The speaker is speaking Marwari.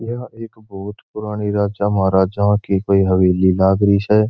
यह एक बहुत पुरानी राजा महाराजाओ की कोई हवेली लागरी स।